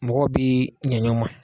Mɔgɔw bi ɲɛ ɲɔnma